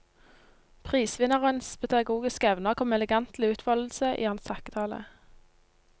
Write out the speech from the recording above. Prisvinnerens pedagogiske evner kom elegant til utfoldelse i hans takketale.